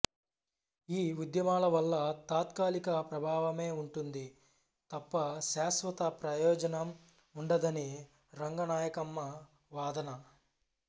ఈ ఉద్యమాల వల్ల తాత్కాలిక ప్రభావమే ఉంటుంది తప్ప శాశ్వత ప్రయోజనం ఉండదని రంగనాయకమ్మ వాదన